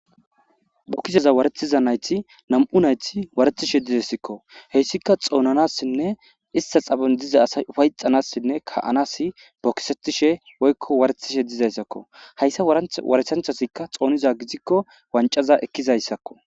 Bokiseza warethiza nayti nam'u nayti waretishe dizayssikko heyssika xoonanassinne ista xabon diza asay ufayxanassinne ka'anasi bokisetishe woykko waretishe dizayssakko hayssa waranth waresanchasikka xooniza gizikko wancaza ekkizayssakko.